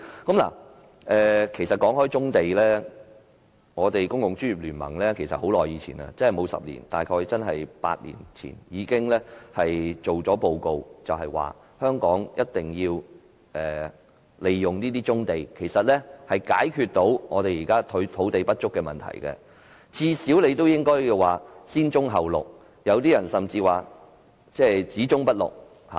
談到棕地，公共專業聯盟其實在很久以前，沒有10年，大約8年前已作出報告，就是香港必須利用這些棕地才可解決現時土地不足的問題，最少應該先棕後綠，有些人甚至說只棕不綠。